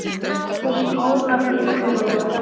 Þín Ólafía Guðrún.